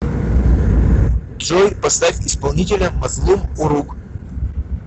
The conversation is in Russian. джой поставь исполнителя мазлум урук